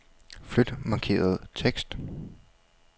Flyt markerede tekst.